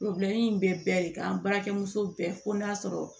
in bɛ bɛɛ de kan baarakɛ muso bɛɛ fo n'a sɔrɔ